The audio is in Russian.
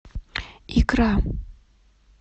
икра